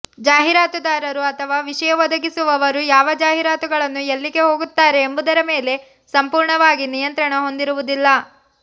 ಜಾಹೀರಾತುದಾರರು ಅಥವಾ ವಿಷಯ ಒದಗಿಸುವವರು ಯಾವ ಜಾಹೀರಾತುಗಳನ್ನು ಎಲ್ಲಿಗೆ ಹೋಗುತ್ತಾರೆ ಎಂಬುದರ ಮೇಲೆ ಸಂಪೂರ್ಣವಾಗಿ ನಿಯಂತ್ರಣ ಹೊಂದಿರುವುದಿಲ್ಲ